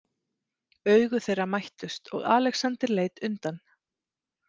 Augu þeirra mættust og Alexander leit undan.